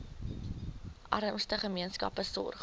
armste gemeenskappe sorg